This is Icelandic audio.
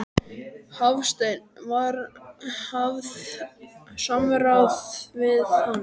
Hafsteinn: Var haft samráð við hann?